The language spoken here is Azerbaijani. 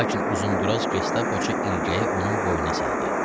Lakin uzunduraz gestapoçu ilgəyi onun boynuna saldı.